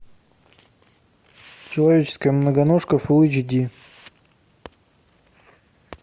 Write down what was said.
человеческая многоножка фулл эйч ди